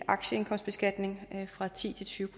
aktieindkomstbeskatning fra ti til tyve